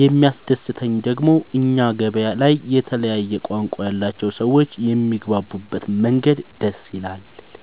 የሚያስደሰተኝ ደግሞ እኛ ገበያ ላይ የተለያየ ቋንቋ ያላቸው ሰዎች የሚግባቡበት መንገድ ደስ ይላል።